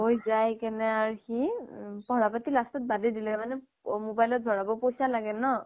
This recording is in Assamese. গৈ যায়কিনে আৰু সি পঢ়া পাটি last ত বাদেই দিলে মানে mobile ত ভৰাব পইচা লাগে ন